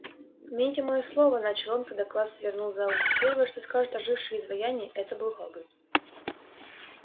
помяните моё слово начал он когда класс свернул за угол первое что скажут ожившие изваяния это был хагрид